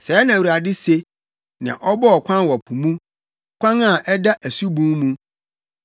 Sɛɛ na Awurade se, nea ɔbɔɔ kwan wɔ po mu, kwan a ɛda asubun mu,